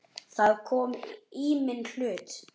Það kom í minn hlut.